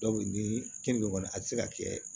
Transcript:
ni keninge kɔni a ti se ka kɛ